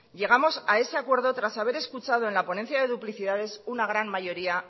llegamos a ese acuerdo tras haber escuchado en la ponencia de duplicidades una gran mayoría